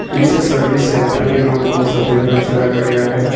इस service centre के room को सफेद रंग से रंगा गया है।